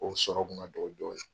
O sɔrɔ tun ka dɔgɔ dɔɔnin.